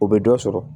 O bɛ dɔ sɔrɔ